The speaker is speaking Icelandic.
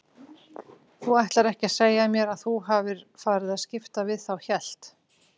Þú ætlar ekki að segja mér að þú hafir farið að skipta við þá hélt